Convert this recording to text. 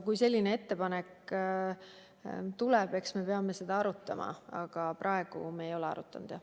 Kui selline ettepanek tuleb, eks me peame seda arutama, aga praegu me ei ole arutanud.